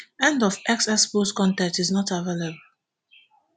end of x x post con ten t is not available